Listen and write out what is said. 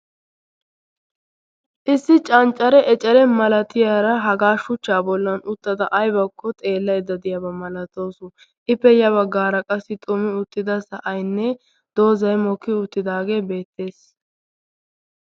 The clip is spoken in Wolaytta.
Issi canccare ecere masatiyaara haga shuchcha bolla uttada aybbakko xeelaydda diyaaba malatawus. ippe ya baggara xumi uttida sa'aynne doozay mokkiyaagee beettees.